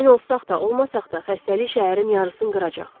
Əmin olsaq da, olmasaq da xəstəlik şəhərin yarısını qıracaq.